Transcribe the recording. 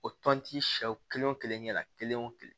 O tɔnti siyaw kelen wo kelen ɲɛ la kelen o kelen